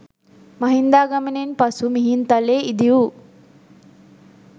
මහින්දාගමනයෙන් පසු මිහින්තලේ ඉදි වූ